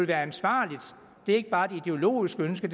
være ansvarligt det er ikke bare et ideologisk ønske